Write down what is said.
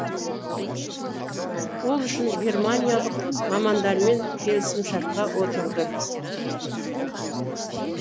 ол үшін германиялық мамандармен келісімшартқа отырды